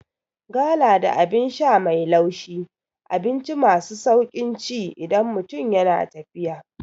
Gala da Abin sha mai laushi abinci masu sauƙin ci idan mutum yana tafiya